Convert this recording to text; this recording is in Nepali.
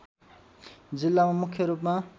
जिल्लामा मुख्य रूपमा